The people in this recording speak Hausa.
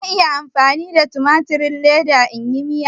Zan iya amfani da tumatirin leda in yi Miya?